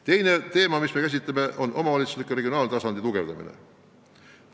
Teine teema, mida me käsitleme, on omavalitsusliku ja regionaaltasandi tugevdamine.